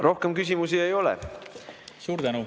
Rohkem küsimusi ei ole.